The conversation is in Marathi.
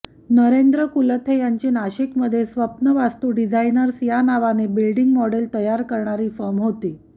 नरेंद्र कुलथे यांची नाशिकमध्ये स्वप्नवास्तु डिझायनर्स या नावाने बिल्डींग मॉडेल तयार करणारी फर्म होती